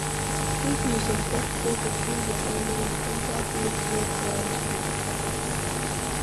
If you suspect say pesin dey follow you, enter place wey crowd dey